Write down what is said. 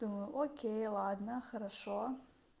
до окей ладно хорошо